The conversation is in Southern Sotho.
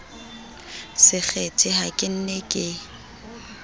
sekgethe ha ke ne ke